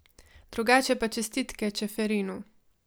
Drugače pa čestitke Čeferinu.